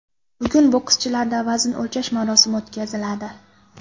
Bugun bokschilarda vazn o‘lchash marosimi o‘tkaziladi.